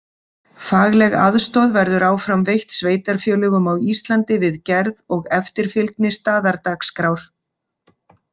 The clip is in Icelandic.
Fagleg aðstoð verður áfram veitt sveitarfélögum á Íslandi við gerð og eftirfylgni Staðardagskrár.